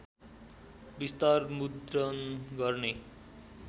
विस्तार मुद्रण गर्ने